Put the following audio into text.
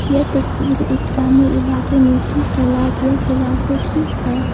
यह तस्वीर एक ग्रामीण इलाके में स्थित तालाब या जलाशय की है।